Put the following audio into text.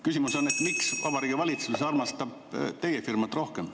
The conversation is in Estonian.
Küsimus on, miks Vabariigi Valitsus armastab teie firmat rohkem.